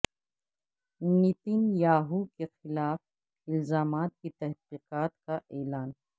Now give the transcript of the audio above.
Nitin Yahoo کے خلاف الزامات کی تحقیقات کا اعلان